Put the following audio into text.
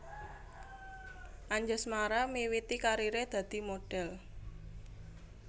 Anjasmara miwiti kariré dadi modhèl